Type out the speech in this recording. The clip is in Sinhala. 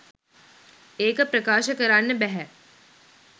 ඒක ප්‍රකාශ කරන්න බැහැ